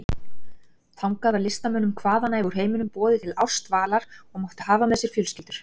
Þangað var listamönnum hvaðanæva úr heiminum boðið til ársdvalar og máttu hafa með sér fjölskyldur.